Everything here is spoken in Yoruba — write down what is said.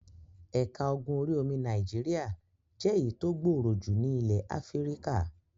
Ẹ̀ka ogun orí-omi Nàìjíríà jẹ́ èyí tó gbọọrọ jù ní ilẹ̀ Áfíríkà.